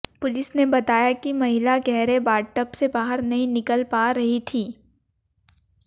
police ने बताया कि महिला गहरे बाथटब से बाहर नहीं निकल पा रही थी